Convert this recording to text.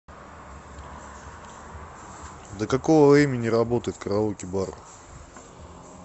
до какого времени работает караоке бар